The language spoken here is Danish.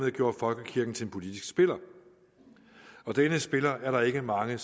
og gjorde folkekirken til en politisk spiller denne spiller er der ikke mange